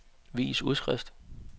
vis udskrift